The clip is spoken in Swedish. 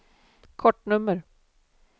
kortnummer